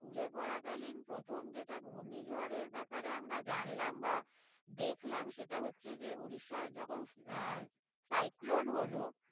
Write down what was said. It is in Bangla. school এ পরাকালীন প্রথম যেটা ঘূর্ণিঝড়ের ব্যাপারে আমরা জানলাম বা দেখলাম সেটা হচ্ছে যে উড়িষ্যার যখন আহ cyclone হলো